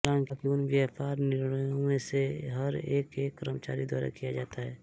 हालांकि उन व्यापार निर्णयों में से हर एक एक कर्मचारी द्वारा किया जाता है